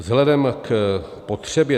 Vzhledem k potřebě